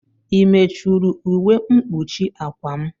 I mechuru ụwe mkpuchi akwa m?